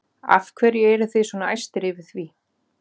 Af hverju eru þið svona æstir yfir því?